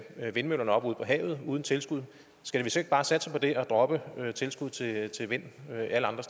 vindmøllerne op ude på havet uden tilskud skal vi så ikke bare satse på det og droppe tilskud til vind alle andre